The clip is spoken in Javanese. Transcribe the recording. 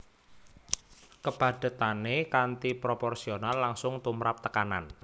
Kepadhetané kanthi proporsional langsung tumrap tekanan